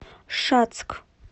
шацк